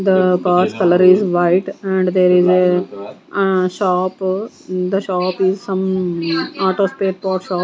the color is white and there is a ah shop the shop is some auto spare parts shop .